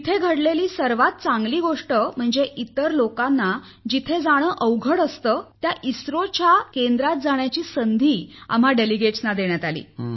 तेथे घडलेली सर्वात चांगली गोष्ट म्हणजे इतर लोकांना जिथे जाणे अवघड असते त्या इस्रोच्या केंद्रात जाण्याची संधी आम्हा प्रतिनिधींना देण्यात आली